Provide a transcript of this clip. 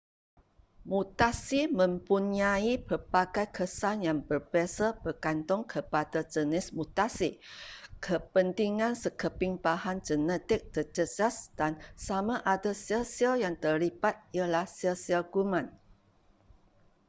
mutasi mempunyai pelbagai kesan yang berbeza bergantung kepada jenis mutasi kepentingan sekeping bahan genetik terjejas dan sama ada sel-sel yang terlibat ialah sel-sel kuman